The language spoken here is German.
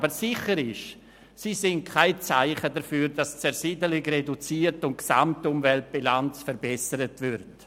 Aber sicher sind sie kein Zeichen dafür, dass die Zersiedelung reduziert und die Gesamtumweltbilanz verbessert wird.